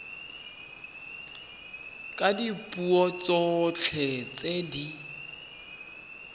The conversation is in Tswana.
ka dipuo tsotlhe tse di